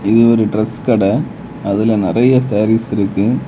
இது ஒரு டிரஸ் கட அதுல நிறைய சாரீஸ் இருக்கு.